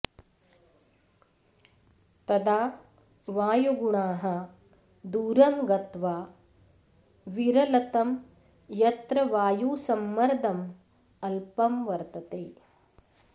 तदा वायुगुणाः दूरं गत्वा विरलतं यत्र वायुसंमर्दं अल्पं वर्तते